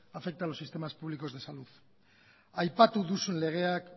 afecta a los sistemas públicos de salud aipatu duzun legeak